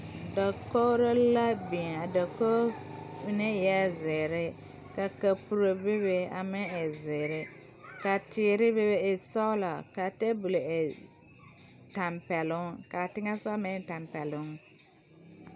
Dakori la biŋ a dakori mine eɛ zeɛre ka kapuro bebe a meŋ e zeɛre ka teere. bebe e sɔglɔ ka tabol e tampɛloŋ kaa teŋɛ sɔɔ meŋ e tampɛloŋ.